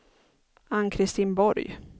Ann-Kristin Borg